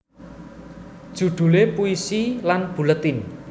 Judule Puisi lan Buletin